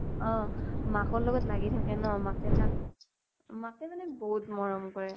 অʼ মাকৰ লগত লাগি থাকে ন, মাকে তাক । মাকে মানে বহুত মৰম কৰে